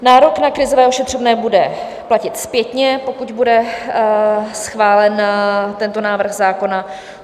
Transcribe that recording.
Nárok na krizové ošetřovné bude platit zpětně, pokud bude schválen tento návrh zákona.